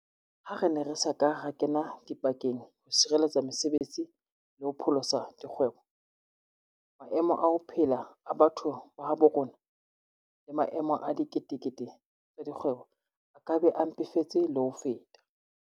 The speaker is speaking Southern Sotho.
Ha re ne re sa ka ra kena dipakeng ho sireletsa mese betsi le ho pholosa dikgwebo, maemo a ho phela a batho ba habo rona le maemo a dikete kete tsa dikgwebo a ka be a mpefetse le ho feta.